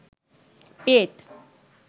পেট